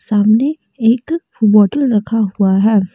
सामने एक बोटल रखा हुआ है।